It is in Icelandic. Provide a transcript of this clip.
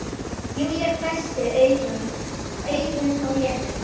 Júlía hvessti augun á Lenu.